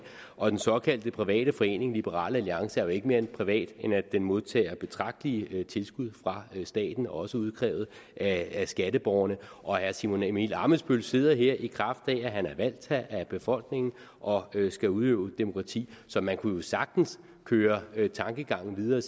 og den såkaldt private forening liberal alliance er jo ikke mere privat end at den modtager betragtelige tilskud fra staten også udkrævet af skatteborgerne og herre simon emil ammitzbøll sidder her i kraft af at han er valgt af befolkningen og skal udøve demokrati så man kunne jo sagtens føre tankegangen videre